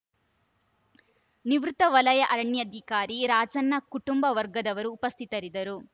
ನಿವೃತ್ತ ವಲಯ ಅರಣ್ಯಾಧಿಕಾರಿ ರಾಜಣ್ಣ ಕುಟುಂಬ ವರ್ಗದವರು ಉಪಸ್ಥಿತರಿದ್ದರು